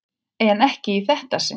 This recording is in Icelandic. En ekki í þetta sinn.